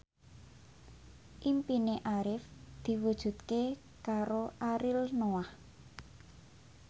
impine Arif diwujudke karo Ariel Noah